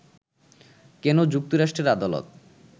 কেন যুক্তরাষ্ট্রের আদালত